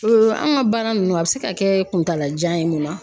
an ka baara nunnu a bɛ se ka kɛ kuntalajan ye mun na